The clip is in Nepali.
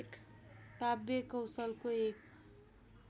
काव्यकौशलको एक